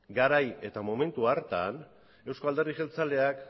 eusko alderdi jeltzaleak